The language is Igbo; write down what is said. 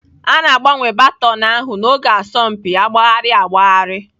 A na-agbanwe baton ahụ n'oge asọmpi agbagharị agbagharị.